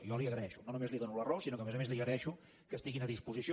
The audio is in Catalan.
jo li ho agraeixo no només li dono la raó sinó que a més a més li agraeixo que estiguin a disposició